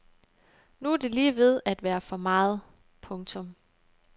Nu er det lige ved at være for meget. punktum